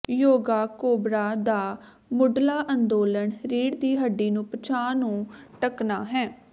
yoga cobra ਦਾ ਮੁੱਢਲਾ ਅੰਦੋਲਨ ਰੀੜ੍ਹ ਦੀ ਹੱਡੀ ਨੂੰ ਪਿਛਾਂਹ ਨੂੰ ਢਕਣਾ ਹੈ